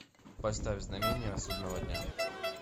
поставь знамение судного дня